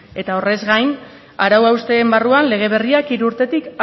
eta horrez gain arau hausteen barruan lege berriak hiru urtetik